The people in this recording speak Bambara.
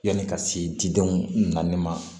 Yanni ka se didenw nali ma